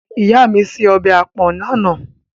Ìyá mi se ọbẹ̀ àpọ̀n lánàá.